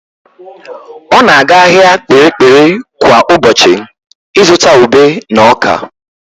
Ọ na-aga ahịa Kpiri-kpiri kwa ụbọchị ịzụta ube na ọ́kà.